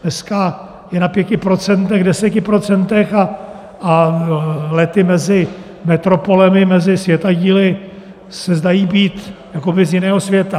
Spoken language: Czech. Dneska je na pěti procentech, deseti procentech a lety mezi metropolemi, mezi světadíly se zdají být jakoby z jiného světa.